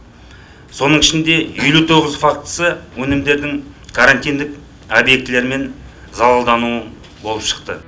соның ішінде елу тоғыз фактісі өнімдердің карантиндік объектілермен залалдану болып шықты